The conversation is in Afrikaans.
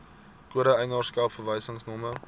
kode eienaarskap verwysingsnommer